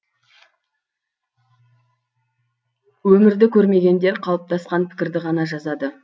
өмірді көрмегендер қалыптасқан пікірді ғана жазады